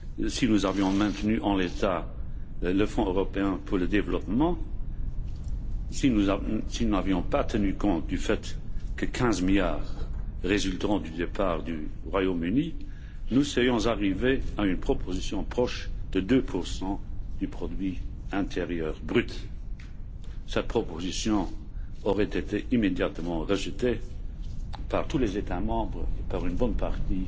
si nous avions maintenu en l'état le Fonds européen de développement, si nous n'avions pas tenu compte des 15 milliards résultant du départ du Royaume Uni, nous serions arrivés à une proposition proche de 2 du produit intérieur brut. Cette proposition aurait été immédiatement rejetée par tous les États membres et par une bonne partie